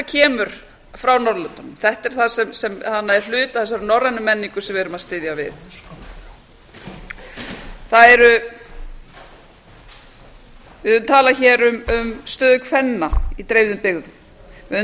kemur frá norðurlöndunum þetta er hluti af þessari norrænu menningu sem við erum að styðja við við höfum talað hér um stöðu kvenna í dreifðum byggðum við höfum